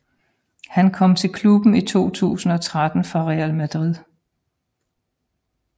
Han kom til klubben i 2013 fra Real Madrid